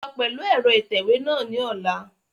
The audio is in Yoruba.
Lọ pẹlu ẹrọ itẹwe náa ni ọla!